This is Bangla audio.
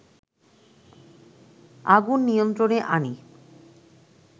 আগুন নিয়ন্ত্রণে আনে